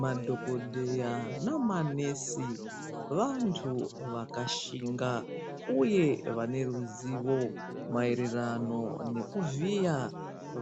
Madhokodheya namanesi vantu vakashinga uye vane ruzivo maererano nekuvhiya